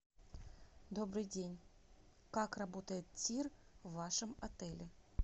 добрый день как работает тир в вашем отеле